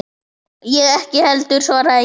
Ég ekki heldur, svaraði ég.